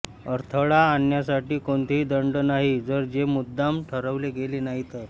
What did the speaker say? अडथळा आणण्यासाठी कोणतेही दंड नाही जर हे मुद्दाम ठरवले गेले नाही तर